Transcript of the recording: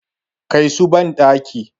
Kai su bandaki!